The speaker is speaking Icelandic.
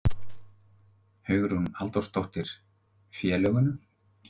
Hugrún Halldórsdóttir: Félögum?